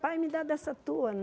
Pai, me dá dessa tua?